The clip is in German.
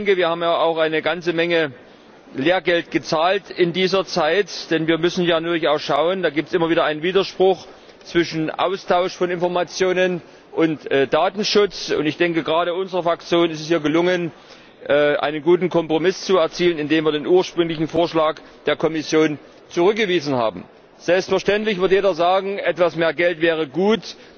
Wir haben auch eine Menge Lehrgeld gezahlt in dieser Zeit, denn wir müssen natürlich auch darauf achten, dass es immer wieder einen Widerspruch zwischen Austausch von Informationen und Datenschutz gibt. Gerade unserer Fraktion ist es ja gelungen, einen guten Kompromiss zu erzielen, in dem wir den ursprünglichen Vorschlag der Kommission zurückgewiesen haben. Selbstverständlich wird jeder sagen Etwas mehr Geld wäre gut.